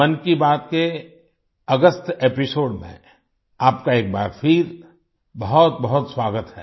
मन की बात के अगस्त एपिसोड में आपका एक बार फिर बहुतबहुत स्वागत है